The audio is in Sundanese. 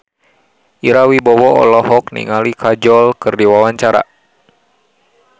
Ira Wibowo olohok ningali Kajol keur diwawancara